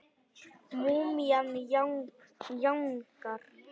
Múmían jánkar.